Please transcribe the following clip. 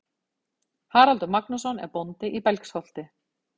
Haraldur Magnússon er bóndi í Belgsholti.